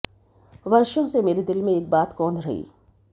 वर्षो से मेरे दिल में एक बात कौध रही